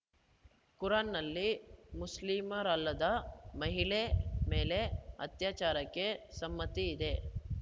ಕುರಾನ್‌ನಲ್ಲಿ ಮುಸ್ಲಿಮರಲ್ಲದ ಮಹಿಳೆ ಮೇಲೆ ಅತ್ಯಾಚಾರಕ್ಕೆ ಸಮ್ಮತಿ ಇದೆ